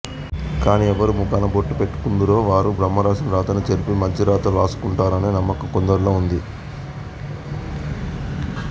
కాని ఎవ్వరు ముఖాన బొట్టు పెట్టుకుందురో వారు బ్రహ్మరాసిన రాతను చెరిపి మంచిరాత వ్రాసుకుంటారనే నమ్మకం కొందరిలో ఉంది